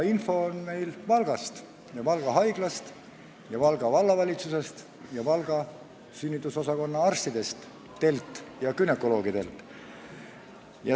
Info on meil Valgast – Valga Haiglast, Valga Vallavalitsusest ning Valga sünnitusosakonna arstidelt ja günekoloogidelt.